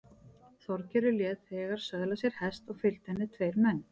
Þorgerður lét þegar söðla sér hest og fylgdu henni tveir menn.